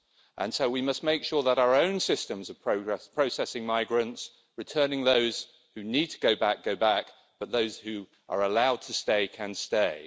And so we must make sure that our own systems of processing migrants, returning those who need to go back, go back, but those who are allowed to stay can stay.